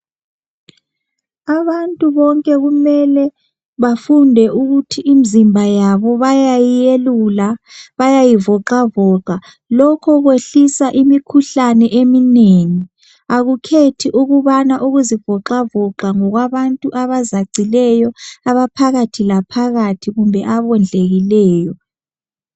Abantu bonke kumele bafunde ukuthi imzimba yabo bayayiyelula, bayayivoxavoxa. Lokho kwehlisa imikhuhlane eminengi. Akukhethi ukubana ukuzivoxavoxa ngokwabantu abazacileyo, abaphakathi laphakathi kumbe abondlekileyo.